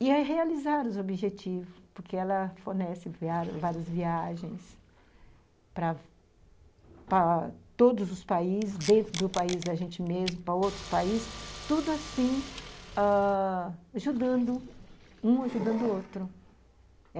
E é realizar os objetivos, porque ela fornece várias viagens para todos os países, dentro do país da gente mesmo, para outros países, tudo assim ãh ajudando um ajudando o outro.